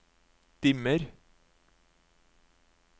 dimmer